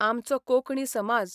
आमचो कोंकणी समाज